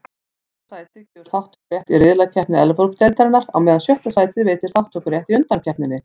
Fimmta sætið gefur þátttökurétt í riðlakeppni Evrópudeildarinnar, á meðan sjötta sætið veitir þátttökurétt í undankeppninni.